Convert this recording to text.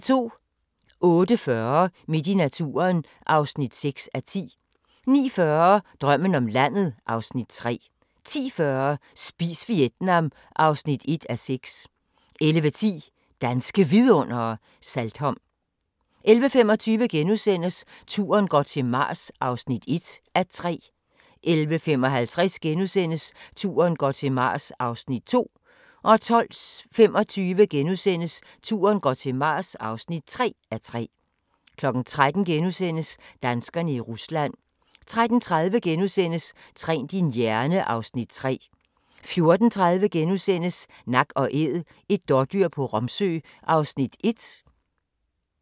08:40: Midt i naturen (6:10) 09:40: Drømmen om landet (Afs. 3) 10:40: Spis Vietnam (1:6) 11:10: Danske Vidundere: Saltholm 11:25: Turen går til Mars (1:3)* 11:55: Turen går til Mars (2:3)* 12:25: Turen går til Mars (3:3)* 13:00: Danskerne i Rusland * 13:30: Træn din hjerne (Afs. 3)* 14:30: Nak & æd – et dådyr på Romsø (1:24)*